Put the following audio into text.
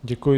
Děkuji.